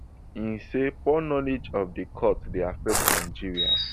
im say poor knowledge of di court dey affect nigeria